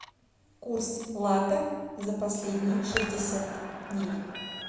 курс лата за последние шестьдесят дней